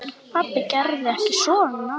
Pabbi gerði ekkert svona.